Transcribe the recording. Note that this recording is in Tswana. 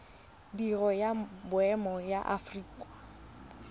biro ya boemo ya aforika